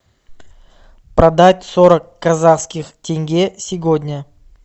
продать сорок казахских тенге сегодня